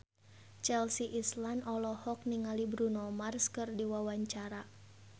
Chelsea Islan olohok ningali Bruno Mars keur diwawancara